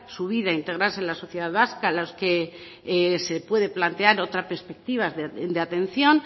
su vida e integrarse en la sociedad vasca los que se puede plantear otra perspectiva de atención